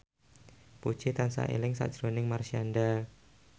Puji tansah eling sakjroning Marshanda